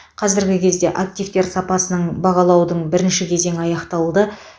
қазіргі кезде активтер сапасын бағалаудың бірінші кезеңі аяқталды